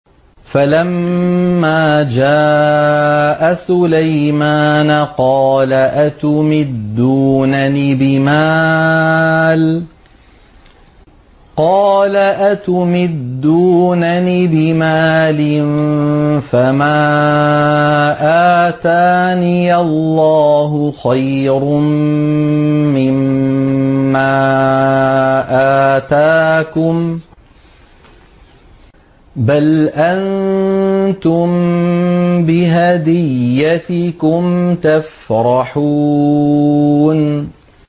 فَلَمَّا جَاءَ سُلَيْمَانَ قَالَ أَتُمِدُّونَنِ بِمَالٍ فَمَا آتَانِيَ اللَّهُ خَيْرٌ مِّمَّا آتَاكُم بَلْ أَنتُم بِهَدِيَّتِكُمْ تَفْرَحُونَ